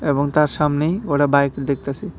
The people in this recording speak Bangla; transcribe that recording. এবং তার সামনেই ওরা বাইক দেখতাসে।